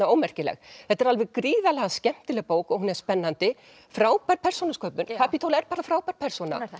ómerkileg þetta er alveg gríðarlega skemmtileg bók og hún er spennandi frábær persónusköpun Kapítóla er bara frábær persóna